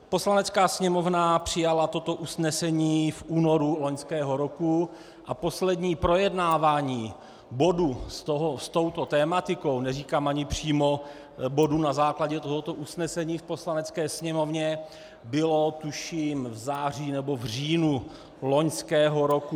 Poslanecká sněmovna přijala toto usnesení v únoru loňského roku a poslední projednávání bodu s touto tematikou - neříkám ani přímo bodu na základě tohoto usnesení - v Poslanecké sněmovně bylo, tuším, v září nebo v říjnu loňského roku.